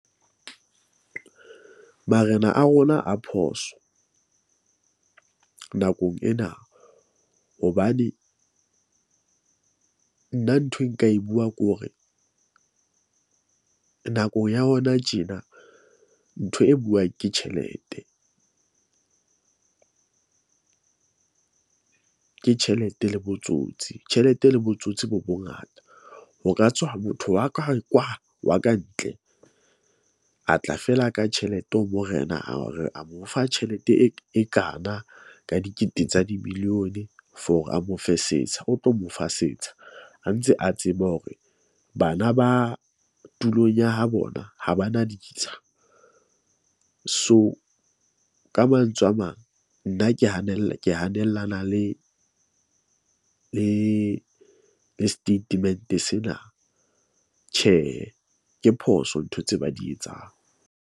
Marena a rona a phoso nakong ena hobane nna nthwe nka e buang kore nakong ya hona tjena, ntho e buang ke tjhelete . Ke tjhelete le botsotsi, tjhelete le botsotsi bo bongata. Ho ka tswa motho wa ka kwa wa ka ntle a tla fela ka tjhelete ho morena a re a mo fa tjhelete e kana ka dikete tsa di-billion for a mo fe setsha. O tlo mo fa setsha a ntse a tseba hore bana ba tulong ya ha bona ha ba na ditsha. So, ka mantswe a mang, nna ke hanella ke hanellana le le le statement sena. Tjhehe, ke phoso ntho tse ba di etsang.